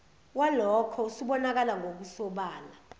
walokho usubonakala ngokusobala